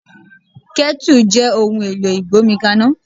Kẹ́tù jẹ́ ohun èlò ìgbómi kaná.